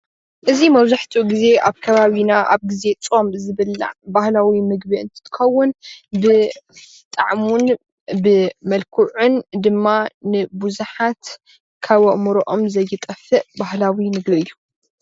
እዚ መብዛሕትኡ ግዜ ኣብ ኸባቢና ኣብ ግዜ ፆም ዝብላዕ ባህላዊ ምግቢ እንትትከውን ብጣዕሙን ብመልክዑን ድማ ንቡዙሓት ካብ ኣእምርኦም ዘይጠፍእ ባህላዎ ምግቢ እዩ።